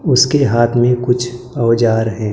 उसके हाथ में कुछ औजार हैं।